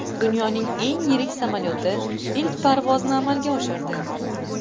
Dunyoning eng yirik samolyoti ilk parvozni amalga oshirdi .